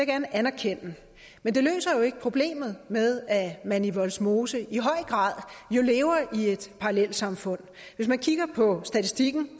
gerne anerkende men det løser jo ikke problemet med at man i vollsmose i høj grad lever i et parallelsamfund hvis man kigger på statistikken